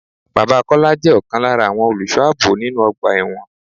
Bàbá Kọ́lá jẹ ọkan lára àwọn olùsọ ààbò nínú ọgbà ẹ̀wọ̀n.